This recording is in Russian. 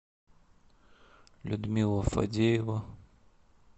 людмила фадеева